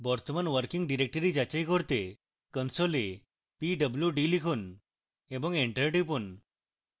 বর্তমান কার্যকর directory যাচাই করতে console pwd লিখুন এবং enter টিপুন